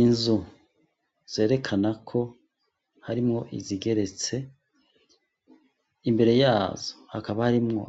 Inzu zerekana ko harimwo izigeretse imbere yazo hakaba harimwo